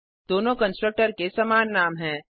दोनों कंस्ट्रक्टर के समान नाम हैं